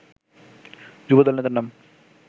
যুবদল নেতার নাম